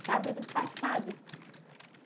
Sábado passado.